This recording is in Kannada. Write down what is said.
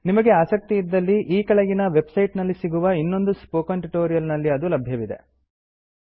ನಿಮಗೆ ಆಸಕ್ತಿ ಇದ್ದಲ್ಲಿ ಈ ಕೆಳಗಿನ ವೆಬ್ ಸೈಟ್ ನಲ್ಲಿ ಸಿಗುವ ಇನ್ನೊಂದು ಸ್ಪೋಕನ್ ಟ್ಯುಟೋರಿಯಲ್ ನಲ್ಲಿ ಅದು ಲಭ್ಯವಿದೆ